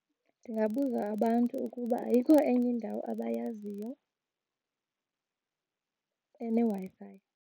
Ndingabuza abantu ukuba ayikho enye indawo abayaziyo eneWi-Fi.